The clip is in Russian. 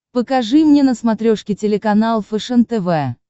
покажи мне на смотрешке телеканал фэшен тв